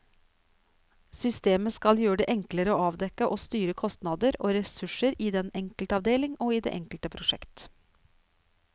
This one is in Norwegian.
Systemet skal gjøre det enklere å avdekke og styre kostnader og ressurser i den enkelte avdeling og i det enkelte prosjekt.